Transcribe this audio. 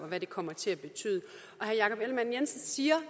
og hvad det kommer til at betyde og herre jakob ellemann jensen siger